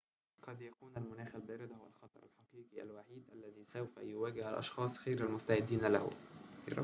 قد يكون المناخ البارد هو الخطر الحقيقي الوحيد الذي سوف يواجهه الأشخاص غير المستعدين له